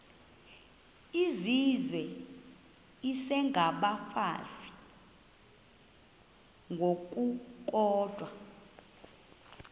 izizwe isengabafazi ngokukodwa